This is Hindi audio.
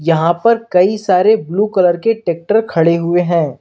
यहां पर कई सारे ब्लू कलर के ट्रैक्टर खड़े हुए हैं।